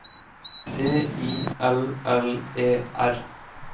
T I L L E R